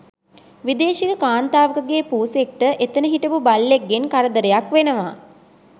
විදේශික කාන්තාවකගෙ පූසෙක්ට එතන හිටපු බල්ලෙක්ගෙන් කරදරයක් වෙනව